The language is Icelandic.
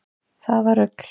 Það var rugl